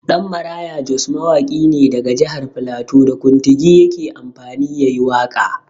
Ɗanmaraya Jos mawaƙi ne daga jahar flato, da kuntigi yake amfani ya yi waƙa.